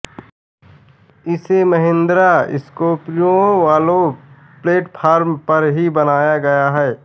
इसे महिन्द्रा स्कोर्पिओ वाले प्लेटफॉर्म पर ही बनाया गया है